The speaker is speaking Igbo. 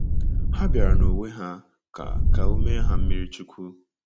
Ha bịara n'onwe ha ka ka o mee ha mmiri chukwu.